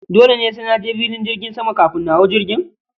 Dole ne sai naje filin jirgin sama kafin na hau jirgin?